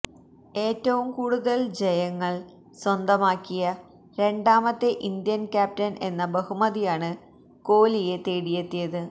ഏറ്റവും കൂടുതല് ജയങ്ങള് സ്വന്തമാക്കിയ രണ്ടാമത്തെ ഇന്ത്യന് ക്യാപ്റ്റന് എന്ന ബഹുമതിയാണ് കോലിയെ തേടിയെത്തിയത്